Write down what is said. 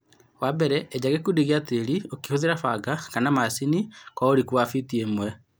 Wambere eja ikundi cia tĩri ũkĩhũthĩra banga kana macini wa tĩri ũriku wa fiti ĩmwe.